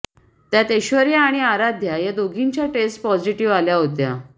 त्यात ऐश्वर्या आणि आराध्या या दोघींच्या टेस्ट पॉझिटिव्ह आल्या होत्या